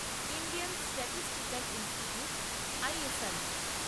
Indian statistical institute ISI